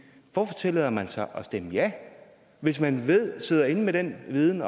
hvorfor tillader man sig at stemme ja hvis man sidder inde med den viden